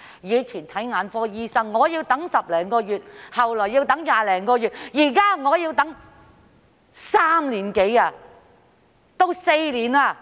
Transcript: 以往，眼科診症要輪候10多個月，後來要20多個月，現在要等3至4年